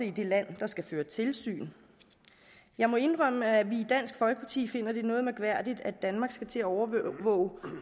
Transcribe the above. i det land der skal føre tilsyn jeg må indrømme at vi i dansk folkeparti finder det noget mærkværdigt at danmark skal til at overvåge